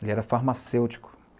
Ele era farmacêutico.